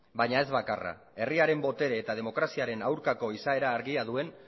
baina ez bakarra herriaren botere eta demokraziaren aurkako izaera argia duen